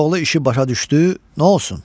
Koroğlu işi başa düşdü, nə olsun?